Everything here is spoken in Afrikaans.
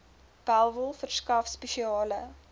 bellville verskaf spesiale